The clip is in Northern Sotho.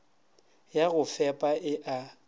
ya go fepa e a